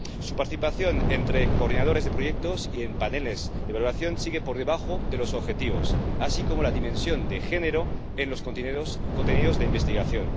Su participación entre coordinadores de proyectos y en paneles de evaluación sigue por debajo de los objetivos, al igual que como la dimensión de género en los contenidos de investigación.